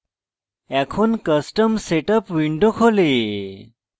এখন custom setup window খোলে